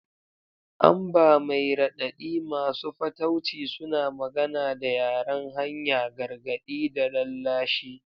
Amber mai raɗaɗi, masu fatauci, suna magana da yaren hanya, gargaɗi da lallashi.